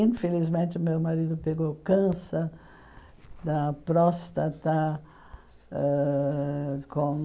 Infelizmente, meu marido pegou câncer da próstata ãh com...